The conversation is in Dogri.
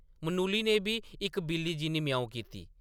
मनुली ने बी इक बिल्ली जिन्नी ‘म्याऊं’ कीती।